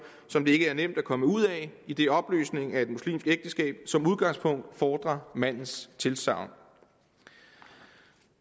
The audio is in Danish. som det ikke er nemt at komme ud af idet opløsning af et muslimsk ægteskab som udgangspunkt fordrer mandens tilsagn